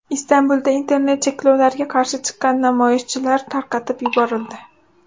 Istanbulda internet cheklovlariga qarshi chiqqan namoyishchilar tarqatib yuborildi.